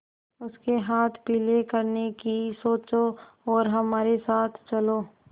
उसके हाथ पीले करने की सोचो और हमारे साथ चलो